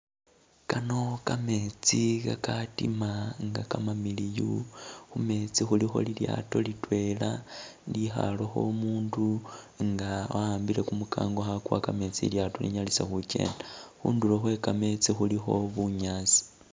Kano kameetsi kadima nga kamamiliyu khumeetsi khulikho lilyaato lidwela ilikhalekho umundu nga wahambile gumugango khakuwa gameetsi lyaato linyalise khugenda khundulo khwegameetsi khulikho bunyaasi.